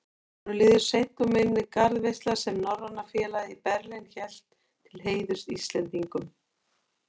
Honum líður seint úr minni garðveisla, sem Norræna félagið í Berlín hélt til heiðurs Íslendingunum.